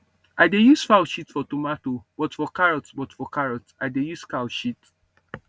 i dey use fowl shit for tomato but for carrot but for carrot i dey use cow shit